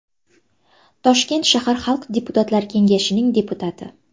Toshkent shahar Xalq deputatlari kengashining deputati.